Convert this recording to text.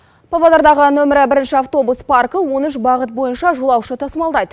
павлодардағы нөмірі бірінші автобус паркі он үш бағыт бойынша жолаушы тасымалдайды